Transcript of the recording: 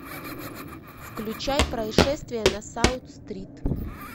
включай происшествие на саут стрит